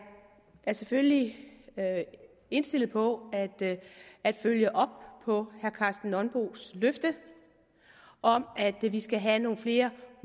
er selvfølgelig indstillet på at følge op på herre karsten nonbos løfte om at vi vi skal have nogle flere